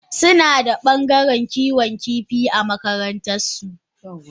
Sunada bangaren Kiwon kifi a makarantan su.